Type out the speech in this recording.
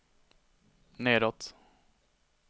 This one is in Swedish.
nedåt